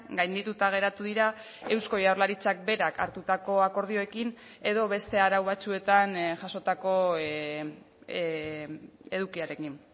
gaindituta geratu dira eusko jaurlaritzak berak hartutako akordioekin edo beste arau batzuetan jasotako edukiarekin